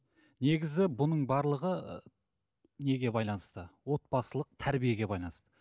негізі бұның барлығы ы неге байланысты отбасылық тәрбиеге байланысты